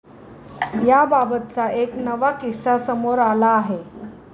याबाबतचा एक नवा किस्सा समोर आला आहे.